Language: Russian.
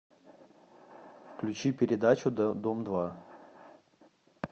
включи передачу дом два